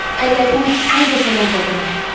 Əllərimin ikisini də sənə uzadıram.